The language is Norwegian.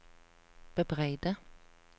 bebreide